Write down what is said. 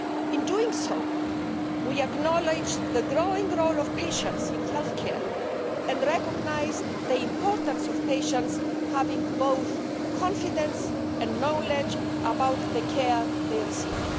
In doing so, we acknowledged the growing role of patients in health care and recognised the importance of patients having both confidence and knowledge about the care they receive.